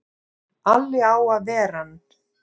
Alli á að ver ann!